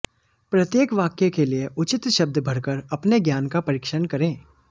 प्रत्येक वाक्य के लिए उचित शब्द भरकर अपने ज्ञान का परीक्षण करें